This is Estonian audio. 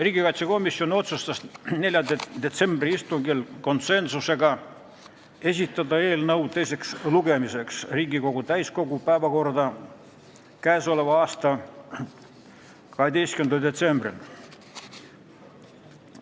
Riigikaitsekomisjon otsustas 4. detsembri istungil konsensusega esitada eelnõu teiseks lugemiseks Riigikogu täiskogu istungi päevakorda 12. detsembriks.